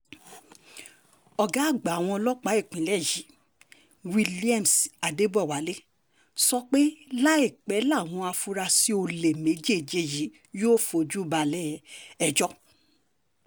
ọ̀gá àgbà àwọn ọlọ́pàá ìpínlẹ̀ yìí cc williams adebọwálé sọ pé láìpẹ́ làwọn afurasí olè méjèèje yìí yóò fojú balẹ̀-ẹjọ́